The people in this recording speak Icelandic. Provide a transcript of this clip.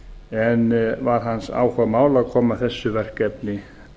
en var hans áhugamál að koma þessu verkefni